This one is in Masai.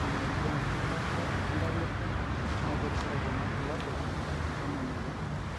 ore enkipimata entaipa na keishoru kuna bulabul lena moyian